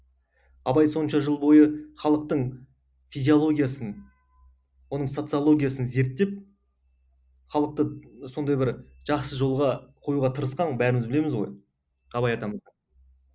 абай сонша жыл бойы халықтың физиологиясын оның социологиясын зерттеп халықты сондай бір жақсы жолға қоюға тырысқан ғой бәріміз білеміз ғой абай атамызды